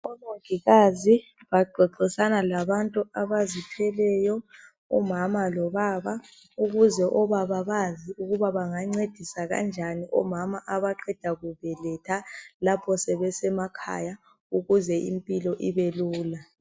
Omongikazi baxoxisana labantu abazithweleyo, umama lobaba ukuze obaba bazi ukuthi bangancedisa kanjani omama abaqeda kubeletha lapho sebesemakhaya ukuze impilo ibelula.